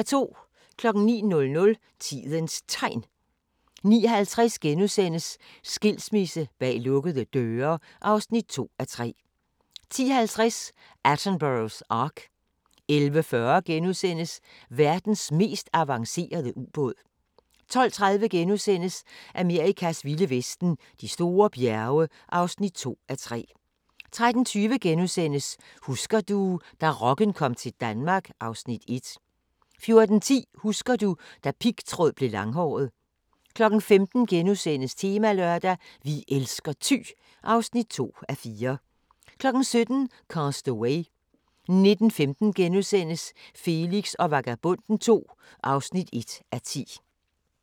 09:00: Tidens Tegn 09:50: Skilsmisse bag lukkede døre (2:3)* 10:50: Attenboroughs ark 11:40: Verdens mest avancerede ubåd * 12:30: Amerikas vilde vesten: De store bjerge (2:3)* 13:20: Husker du – da rocken kom til Danmark (Afs. 1)* 14:10: Husker du - da pigtråd blev langhåret 15:00: Temalørdag: Vi elsker Thy (2:4)* 17:00: Cast Away 19:15: Felix og Vagabonden II (1:10)*